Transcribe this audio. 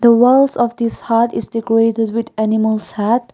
the walls of this hut is decorated with animals hat.